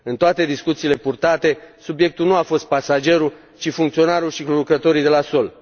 În toate discuțiile purtate, subiectul nu a fost pasagerul, ci funcționarul și lucrătorii de la sol.